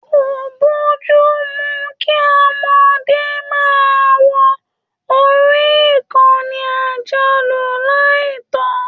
Ko bojumu kí ọmọdé máa wọ orí ìkànnì ayelujara lai tọ.